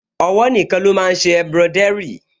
Ọwọ́ nìkan ló máa n ṣe embroidery